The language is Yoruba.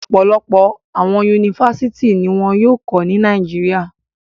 Ọpọlọpọ awọn Yunifásítì ni wọn yóò kọ ni Nàìjíríà